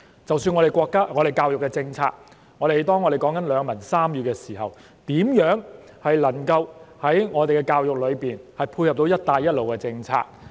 即使是我們的教育政策，當我們談及兩文三語時，我們的教育如何配合"一帶一路"的政策呢？